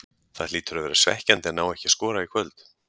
Það hlýtur að vera svekkjandi að ná ekki að skora í kvöld?